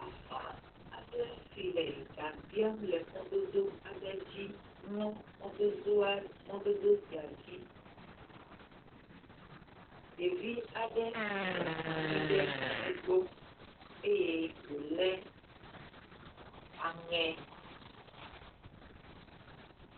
Bafa aɖe si le gabiam le mɔdodo aɖe dzi mlɔ mɔdodoa mɔdodo sia dzi. Ɖevi aɖe nɔ anyi ɖe egbɔ eye wo le aŋe.